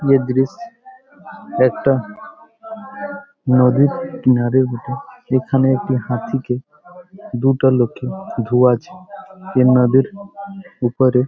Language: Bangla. এই দৃশ্য একটা নদীর কিনারার বটে। এখানে একটি হাতিকে দুটো লোকে ধুয়াচ্ছে। এ নদীর ওপারে ।